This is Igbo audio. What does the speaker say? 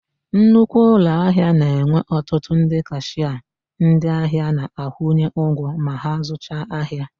Nnukwu ụlọahịa na-enwe ọtụtụ ndị kashịa ndịahịa na-akwụnye ụgwọ ma ha zụcha ahia.